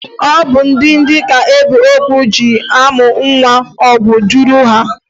Ọ bụ ndidi ka ebiogwu ji amụ nwa ogwu juru ahụ.